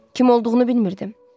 Kim olduğunu bilmirdim.